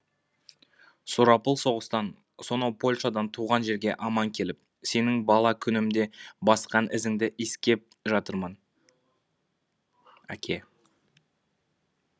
сұрапыл соғыстан сонау польшадан туған жерге аман келіп сенің бала күнімде басқан ізіңді иіскеп жатырмын әке